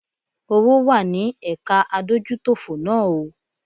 Owó wá ní ẹ̀ka adójútòfò náà o.